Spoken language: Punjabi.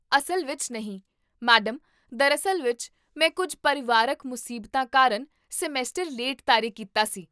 ਅਸਲ ਵਿੱਚ ਨਹੀਂ, ਮੈਡਮ, ਦਰਾਅਸਲ ਵਿੱਚ, ਮੈਂ ਕੁੱਝ ਪਰਿਵਾਰਕ ਮੁਸੀਬਤਾਂ ਕਾਰਨ ਸਮੈਸਟਰ ਲੇਟ ਸ਼ੁਰੂ ਕੀਤਾ ਸੀ